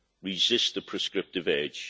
Resist the prescriptive urge.